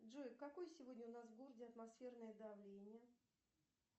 джой какое сегодня у нас в городе атмосферное давление